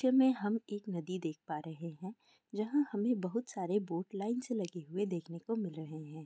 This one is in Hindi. हम एक नदी देख पा रहे है जहाँ हमे बहुत सारे बोट लाइन से लगे हुए देखने को मिल रहे है।